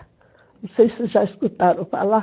Não sei se vocês já escutaram falar.